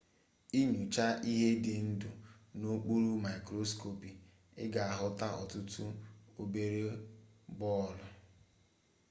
i nyochaa ihe dị ndụ n'okpuru maịkroskopu ị ga ahụta ọtụtụ obere bọọlụ